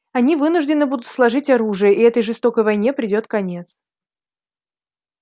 они вынуждены будут сложить оружие и этой жестокой войне придёт конец